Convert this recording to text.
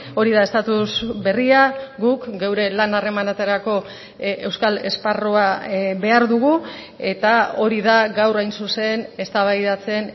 hori da estatus berria guk geure lan harremanetarako euskal esparrua behar dugu eta hori da gaur hain zuzen eztabaidatzen